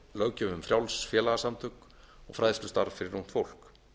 löggjöf um frjáls félagasamtök og fræðslustarf fyrir ungt fólk